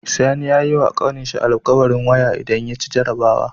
Sani yayi wa ƙanin shi al'kawarin waya idan yaci jarabawa